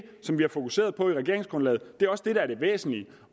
som vi har fokuseret på i regeringsgrundlaget det er også det der er det væsentlige